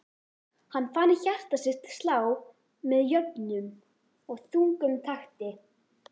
Hann fann hjarta sitt slá með jöfnum og þungum takti.